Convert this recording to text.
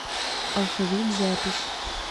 алфавит запись